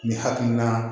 Ni hakilina